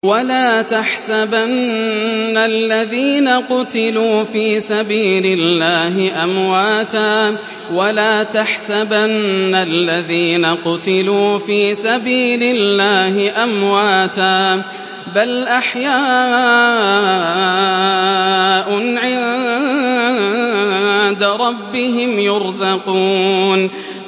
وَلَا تَحْسَبَنَّ الَّذِينَ قُتِلُوا فِي سَبِيلِ اللَّهِ أَمْوَاتًا ۚ بَلْ أَحْيَاءٌ عِندَ رَبِّهِمْ يُرْزَقُونَ